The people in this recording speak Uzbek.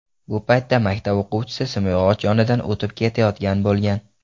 Bu paytda maktab o‘quvchisi simyog‘och yonidan o‘tib ketayotgan bo‘lgan.